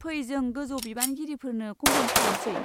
फै, जों गोजौ बिबानगिरिफोनो कमप्लेन खालामसै।